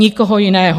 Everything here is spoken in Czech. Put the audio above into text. Nikoho jiného.